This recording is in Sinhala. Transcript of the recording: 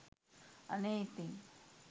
අනේ ඉතින්